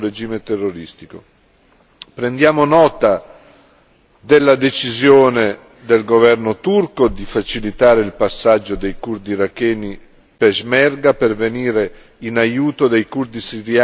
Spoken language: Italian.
Prendiamo nota della decisione del governo turco di facilitare il passaggio dei curdi iracheni peshmerga per venire in aiuto dei curdi siriani che difendono Kobane.